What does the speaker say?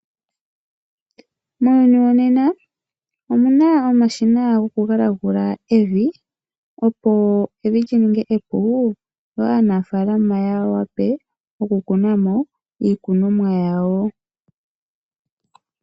Muuyuni wonena omuna omashina Goku galagula evi opo evi lininge epu opo Aanafaalama yawape okukunamo iikunomwa yawo.